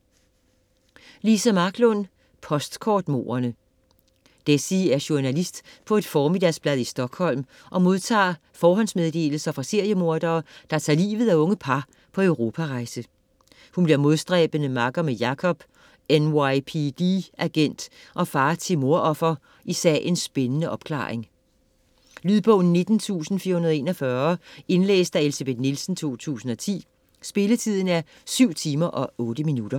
Marklund, Liza: Postkortmorderne Dessie er journalist på et formiddagsblad i Stockholm og modtager forhåndsmeddelelser fra seriemordere, der tager livet af unge par på Europarejse. Hun bliver modstræbende makker med Jacob - NYPD-agent og far til mordoffer - i sagens spændende opklaring. Lydbog 19441 Indlæst af Elsebeth Nielsen, 2010. Spilletid: 7 timer, 8 minutter.